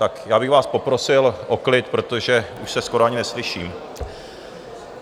Tak já bych vás poprosil o klid, protože už se skoro ani neslyším.